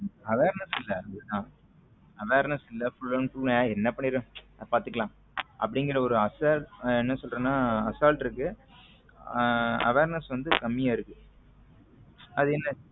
Awareness இல்ல awareness இல் full and full என்ன பண்ணிரும் பாத்துக்கலாம் அப்படிங்கற ஒரு அசால் என்ன சொல்றதுன்னா அசால்ட் இருக்கு awareness வந்து கம்மியா இருக்கு அது என்னன்னா.